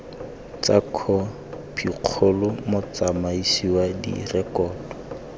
tsa khopikgolo motsamaisi wa direkoto